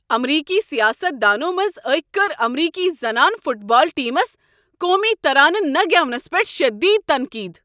امریکی سیاست دانو منٛزٕ أکۍ کٔر امریکی زنانہٕ فٹ بال ٹیمس قومی ترانہ نہٕ گیونس پیٹھ شٔدید تنقید۔